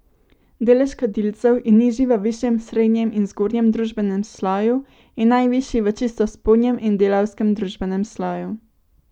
Delež kadilcev je nižji v višjem srednjem in zgornjem družbenem sloju in najvišji v čisto spodnjem in delavskem družbenem sloju.